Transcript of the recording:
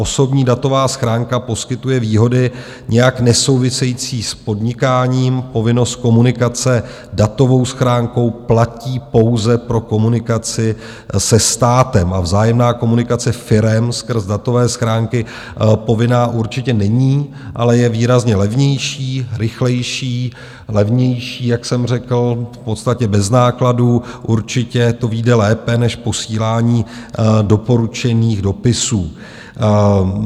Osobní datová schránka poskytuje výhody nijak nesouvisející s podnikáním, povinnost komunikace datovou schránkou platí pouze pro komunikaci se státem, a vzájemná komunikace firem skrz datové schránky povinná určitě není, ale je výrazně levnější, rychlejší, levnější, jak jsem řekl, v podstatě bez nákladů - určitě to vyjde lépe než posílání doporučených dopisů.